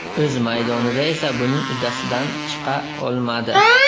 O‘z maydonida esa buning uddasidan chiqa olmadi.